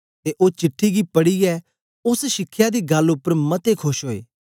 ते ओ चिट्ठी गी पढ़ीयै ओस शिखया दी गल्ल उपर मते खोश ओए